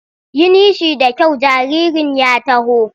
Yi nishi da kyau jaririn ya taho!